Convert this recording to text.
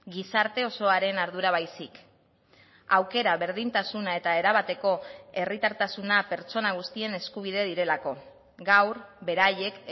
gizarte osoaren ardura baizik aukera berdintasuna eta erabateko herritartasuna pertsona guztien eskubide direlako gaur beraiek